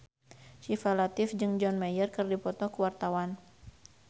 Syifa Latief jeung John Mayer keur dipoto ku wartawan